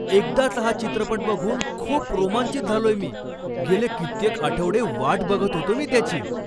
एकदाचा हा चित्रपट बघून खूप रोमांचित झालोय मी! गेले कित्येक आठवडे वाट बघत होतो मी त्याची.